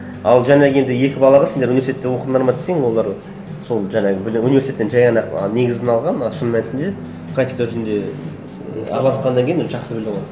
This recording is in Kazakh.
ал жаңағы енді екі балаға сендер университетте оқыдыңдар ма десең олар сол жаңағы білім университеттен жай ғана ақ негізін алған а шын мәнісінде практика жүзінде араласқаннан кейін уже жақсы